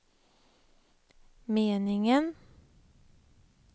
meningen